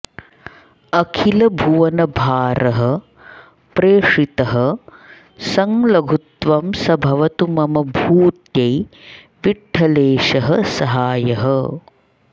अखिलभुवनभारः प्रेषितः संलघुत्वं स भवतु मम भूत्यै विठ्ठलेशः सहायः